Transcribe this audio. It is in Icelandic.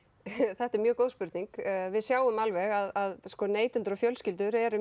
þetta er mjög góð spurning við sjáum alveg að neytendur og fjölskyldur eru